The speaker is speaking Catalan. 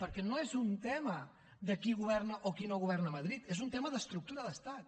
perquè no és un tema de qui governa o qui no governa a madrid és un tema d’estructura d’estat